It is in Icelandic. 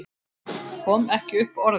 Kom ekki upp orði.